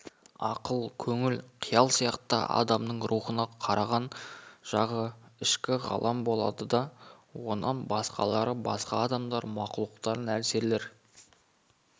ақыл көңіл қиял сияқты адамның рухына қараған жағы ішкі ғалам болады да онан басқалары басқа адамдар мақұлықтар нәрселер